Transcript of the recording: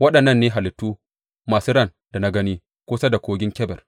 Waɗannan ne halittu masu ran da na gani kusa da Kogin Kebar.